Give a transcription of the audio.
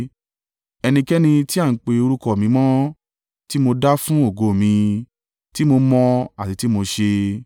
ẹnikẹ́ni tí a ń pe orúkọ mi mọ́, tí mo dá fún ògo mi, tí mo mọ̀ àti tí mo ṣe.”